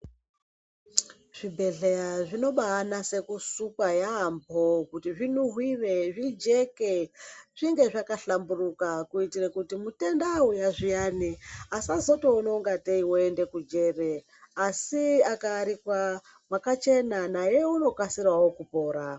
Zvibhedhlera zvinoba nyaso sukwa yambo kuti zvinhuhwire zvijeke zvinge zvakahlamburuka kuitira kuti mutenda auya zviyani asazotoona kuti aendawo kujere asi aka arikwa yakachena naye anokasirawo kupona.